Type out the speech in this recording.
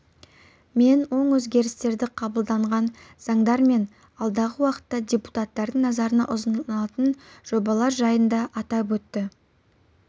мен оң өзгерістерді қабылданған заңдар мен алдағы уақытта депутаттардың назарына ұсынылатын жобалар жайында атап өтті